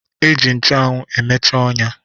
E ji nchụanwụ emeche ọnya